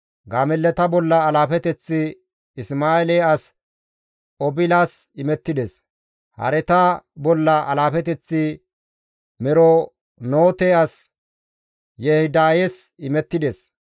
Gaamellata bolla alaafeteththi Isma7eele as Obilas imettides. Hareta bolla alaafeteththi Meronoote as Yehidayes imettides.